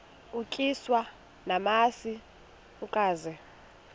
utyiswa namasi ukaze